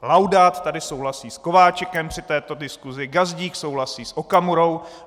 Laudát tady souhlasí s Kováčikem při této diskusi, Gazdík souhlasí s Okamurou.